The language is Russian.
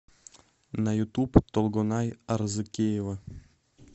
на ютуб толгонай арзыкеева